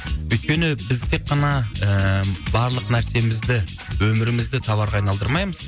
өйткені біз тек қана ііі барлық нәрсемізді өмірімізді товарға айналдырмаймыз